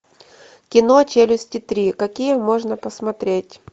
кино челюсти три какие можно посмотреть